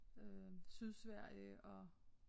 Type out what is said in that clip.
Øh Sydsverige og